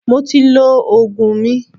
Mo ti lọ Ògùn mi.